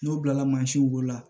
N'o bilala mansinw bolo la